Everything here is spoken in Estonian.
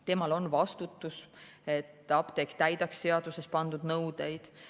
Temal on vastutus, et apteek täidaks seaduses pandud nõudeid.